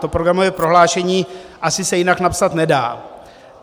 To programové prohlášení asi se jinak napsat nedá.